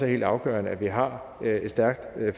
helt afgørende at vi har et stærkt